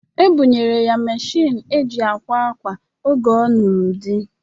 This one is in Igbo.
E bunyere ya meshịn eji akwa akwa oge ọ nụrụ di